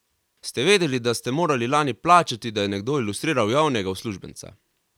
Ste vedeli, da ste morali lani plačati, da je nekdo ilustriral javnega uslužbenca?